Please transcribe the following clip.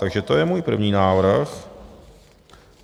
Takže to je můj první návrh.